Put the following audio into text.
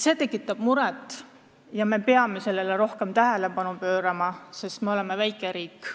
See tekitab muret ja me peame sellele rohkem tähelepanu pöörama, sest me oleme väike riik.